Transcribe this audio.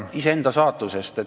... ainult iseenda saatusest.